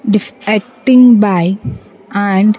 Defecting by and --